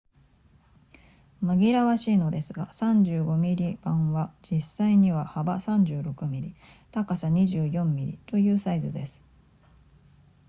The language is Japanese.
紛らわしいのですが35 mm 判は実際には幅36 mm 高さ24 mm というサイズです